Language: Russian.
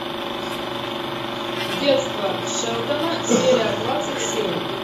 детство шелдона серия двадцать семь